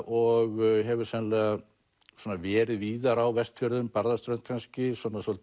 og hefur sennilega verið víðar á Vestfjörðum Barðaströnd kannski